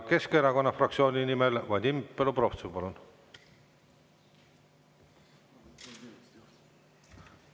Keskerakonna fraktsiooni nimel Vadim Belobrovtsev, palun!